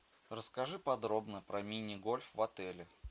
расскажи подробно про мини гольф в отеле